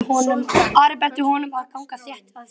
Ari benti honum að ganga þétt að sér.